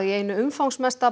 einu umfangsmesta